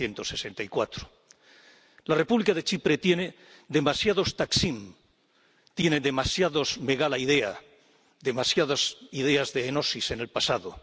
1964. La República de Chipre tiene demasiados taksim, tiene demasiadas Megali Idea, demasiadas ideas de enosis en el pasado.